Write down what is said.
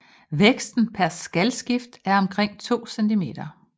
Væksten per skalskifte er omkring 2 cm